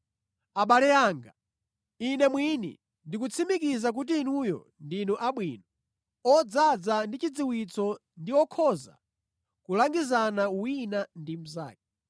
Abale anga, ine mwini ndikutsimikiza kuti inuyo ndinu abwino, odzaza ndi chidziwitso ndi okhoza kulangizana wina ndi mnzake.